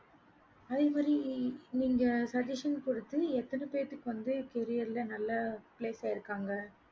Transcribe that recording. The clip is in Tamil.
அதே மாறி நீங்க suggestion பொறுத்து எத்தன பேத்துக்கு வந்து பொறியியல நல்ல place ஆகிருகாங்க